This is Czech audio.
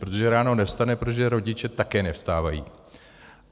Protože ráno nevstane, protože rodiče také nevstávají.